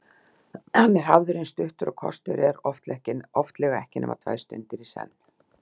Hann er hafður eins stuttur og kostur er, oftlega ekki nema tvær stundir í senn.